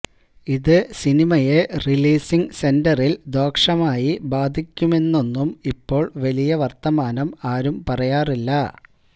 ഇത് സിനിമയെ റിലീസിംഗ് സെന്ററില് ദോഷമായി ബാധിക്കുമെന്നൊന്നും ഇപ്പോള് വലിയ വര്ത്തമാനം ആരു പറയാറില്ല